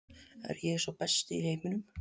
Er ég sá besti í heiminum?